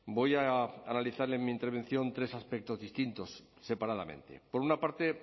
voy a analizar en mi intervención tres aspectos distintos separadamente por una parte